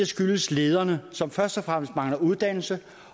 skyldes det lederne som først og fremmest mangler uddannelse